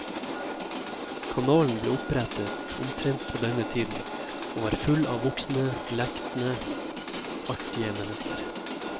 Kanalen ble opprettet omtrent på denne tiden, og var full av voksne, lekne, artige mennesker.